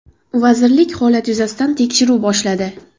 Vazirlik holat yuzasidan tekshiruv boshladi.